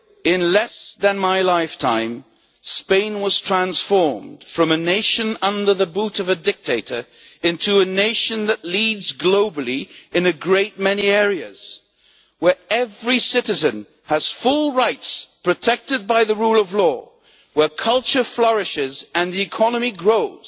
In less than my lifetime, Spain was transformed from a nation under the boot of a dictator into a nation that leads globally in a great many areas, where every citizen has full rights protected by the rule of law, where culture flourishes and the economy grows.